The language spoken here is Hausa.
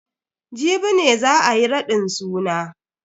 Jibi ne za ayi raɗin suna.